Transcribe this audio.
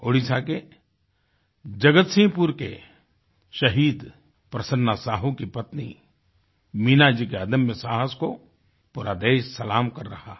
ओड़िशा के जगतसिंह पुर के शहीद प्रसन्ना साहू की पत्नी मीना जी के अदम्य साहस को पूरा देश सलाम कर रहा है